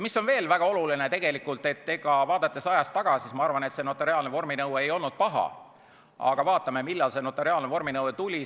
Veel on väga oluline see, et vaadates ajas tagasi, ma arvan, et see notariaalne vorminõue ei olnud paha, aga vaatame, millal see tuli.